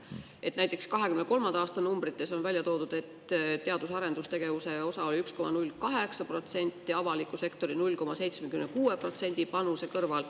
Näiteks 2023. aasta numbrites on välja toodud, et teadus- ja arendustegevuse osakaal oli 1,08% avaliku sektori 0,76% panuse kõrval.